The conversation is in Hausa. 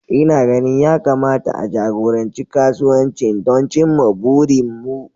Ina ganin ya kamata a jagoranci kasuwancin don cimma burinmu